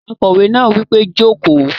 Akòwé náà wí pé "jókòó!"